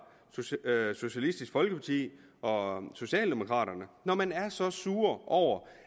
socialistisk folkeparti og socialdemokraterne når man er så sure over